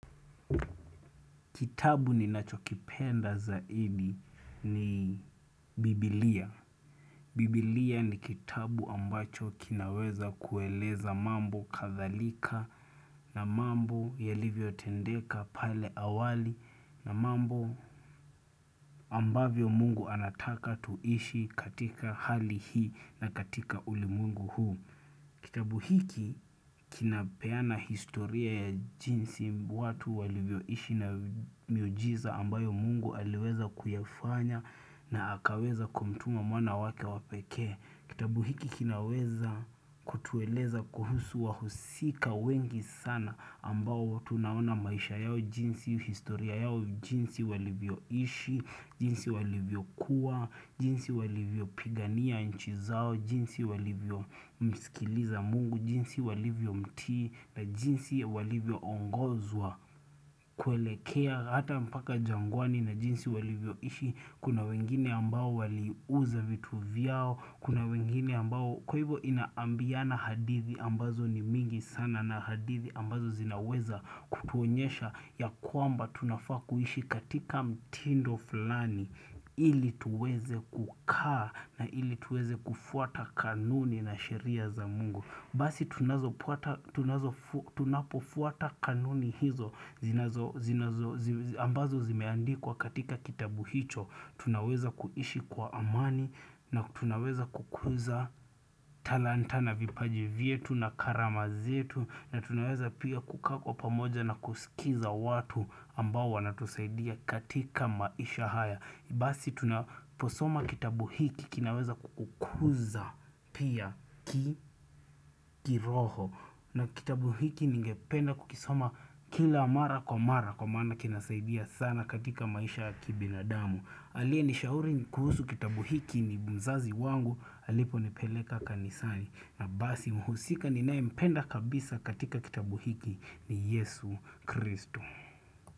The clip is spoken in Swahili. Kitabu ninacho kipenda zaidi ni Biblia. Biblia ni kitabu ambacho kinaweza kueleza mambo kadhalika na mambo yalivyo tendeka pale awali na mambo ambavyo mungu anataka tuishi katika hali hii na katika ulimwengu huu. Kitabu hiki kinapeana historia ya jinsi watu walivyo ishi na miujiza ambayo mungu aliweza kuyafanya na akaweza kumtuma mwana wake wapeke. Kitabu hiki kinaweza kutueleza kuhusu wa husika wengi sana ambao tunaona maisha yao jinsi, historia yao jinsi walivyo ishi, jinsi walivyo kuwa, jinsi walivyo pigania nchi zao, jinsi walivyo msikiliza mungu, jinsi walivyo mtii na jinsi walivyo ongozwa kuelekea hata mpaka jangwani na jinsi walivyo ishi Kuna wengine ambao waliuza vitu vyao Kuna wengine ambao kwa hivyo ina ambiana hadithi ambazo ni mingi sana na hadithi ambazo zinaweza kutuonyesha ya kwamba tunafaa kuishi katika mtindo fulani.i ili tuweze kukaa na ili tuweze kufuata kanuni na sheria za mungu Basi tunazopota tunazo tunapofuata kanuni hizo zinazo zinazo ambazo zimeandikwa katika kitabu hicho Tunaweza kuishi kwa amani na tunaweza kukuza talanta na vipaji vyetu na karama zetu na tunaweza pia kukakaa kwa pamoja na kusikiza watu ambao wana tusaidia katika maisha haya. Basi tuna posoma kitabu hiki kinaweza kukuza pia ki kiroho na kitabu hiki ningependa kukisoma kila mara kwa mara kwa maana kinasaidia sana katika maisha kibinadamu. Aliye nishauri kuhusu kitabu hiki ni mzazi wangu alipo nipeleka kanisani na basi mhusika ninaye mpenda kabisa katika kitabu hiki ni Yesu Kristo.